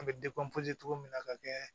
An bɛ cogo min na ka kɛ